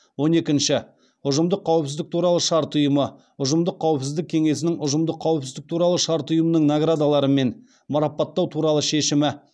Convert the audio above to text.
он екінші ұжымдық қауіпсіздік туралы шарт ұйымы ұжымдық қауіпсіздік кеңесінің ұжымдық қауіпсіздік туралы шарт ұйымының наградаларымен марапаттау туралы шешімі